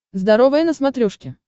здоровое на смотрешке